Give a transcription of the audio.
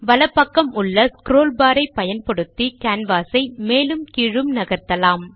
வலது பக்கம் உள்ள ஸ்க்ரோல் பார் ஐ பயன்படுத்தி கேன்வாஸ் ஐ மேலும் கீழும் நகர்த்தலாம்